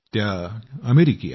त्या अमेरिकी आहेत